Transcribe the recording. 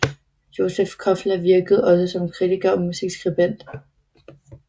Józef Koffler virkede også som kritiker og musikskribent